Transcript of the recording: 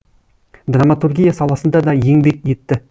драматургия саласында да еңбек етті